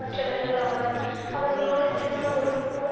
அற்றவர்கள் ஆவர் அவர்களோடு திருமண உறவு போல்